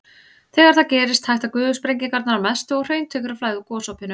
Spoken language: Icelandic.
Þegar það gerist hætta gufusprengingarnar að mestu og hraun tekur að flæða úr gosopinu.